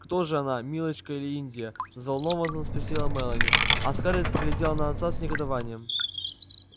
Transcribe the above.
кто же она милочка или индия взволнованно спросила мелани а скарлетт поглядела на отца с негодованием